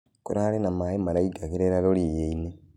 Kũrarĩ na mae maraĩgĩraga rũĩĩnĩ.